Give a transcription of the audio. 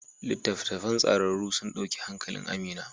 Littattafan tsararru sun dauki hankalin Amina.